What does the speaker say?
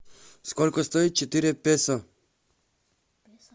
сколько стоит четыре песо